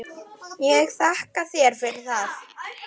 Ég þakka þér fyrir það.